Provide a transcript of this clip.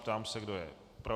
Ptám se, kdo je pro.